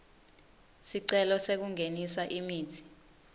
sicelo sekungenisa imitsi